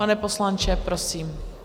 Pane poslanče, prosím.